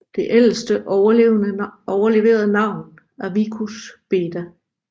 Det ældste overleverede navn er Vicus Beda